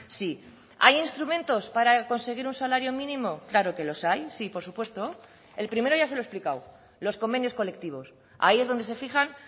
sí hay instrumentos para conseguir un salario mínimo claro que los hay sí por supuesto el primero ya se lo he explicado los convenios colectivos ahí es donde se fijan